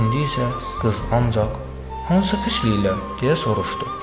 İndi isə qız ancaq hansı pisliklər, deyə soruşdu.